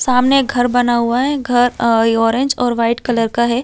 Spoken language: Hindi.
सामने एक घर बना हुआ हैं घर ओ ऑरेंज और वाइट कलर का हैं।